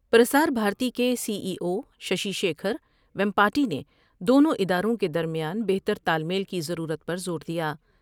پرسار بھارتی کے C E اوششی شیکھرویم پاٹی نے دونوں اداروں کے درمیان بہتر تال میل کی ضرورت پر زور دیا ۔